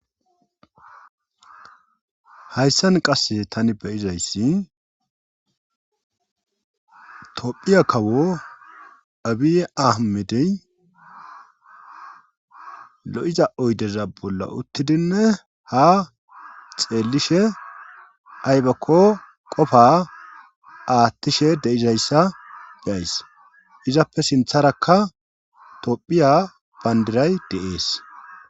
Hayssan qass tani beyizayssi tophiya kawo abiye ahmedey lo7iza oydeza bolla uttidinne ha xeellishe aybakko qofa aathtishe deizayssa geyays izappe sintharakka tophiya bandiray deees.